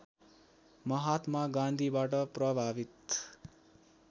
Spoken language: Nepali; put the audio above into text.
महात्मा गान्धीबाट प्रभावित